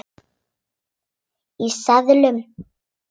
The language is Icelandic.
Í seðlum.